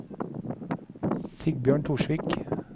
Sigbjørn Torsvik